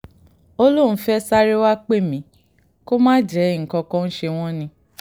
ó lóun fẹ́ẹ́ sáré wàá pè mí kó má jẹ́ nǹkan kan ń ṣe wọ́n ni